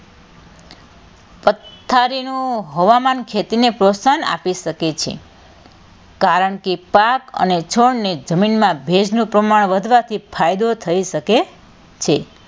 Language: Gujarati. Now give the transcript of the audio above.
પથારીનું હવામાન ખેતીને પ્રોત્સાહન આપી શકે છે કારણ કે પાક અને છોડને જમીનમાં ભેજનું પ્રમાણ વધવાથી ફાયદો થઇ શકે છે.